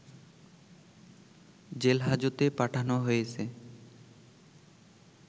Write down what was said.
জেলহাজতে পাঠনো হয়েছে